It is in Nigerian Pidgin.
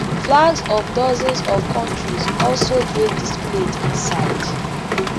flags of dozens of kontries also dey displayed inside